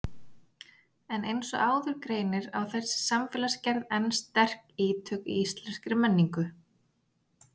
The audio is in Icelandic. En eins og áður greinir á þessi samfélagsgerð enn sterk ítök í íslenskri menningu.